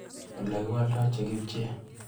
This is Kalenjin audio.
Olekiwaldai chekipchee.